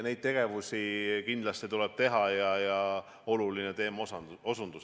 Nii et seda kindlasti tuleb teha ja see on oluline teema.